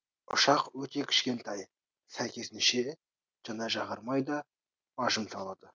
ұшақ өте кішкентай сәйкесінше жанар жағармай да аз жұмсалады